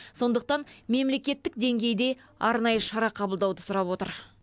сондықтан мемлекеттік деңгейде арнайы шара қабылдауды сұрап отыр